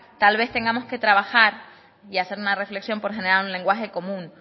tal vez tengamos que trabajar y hacer una reflexión por generar un lenguaje común